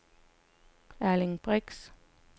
Erling Brix